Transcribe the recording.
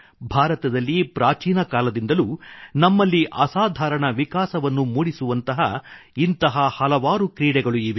ಭಾರತದಲ್ಲಿ ಪ್ರಾಚೀನ ಕಾಲದಿಂದಲೂ ನಮ್ಮಲ್ಲಿ ಅಸಾಧಾರಣ ವಿಕಾಸವನ್ನು ಮೂಡಿಸುವಂತಹ ಇಂಥ ಹಲವಾರು ಕ್ರೀಡೆಗಳು ಇವೆ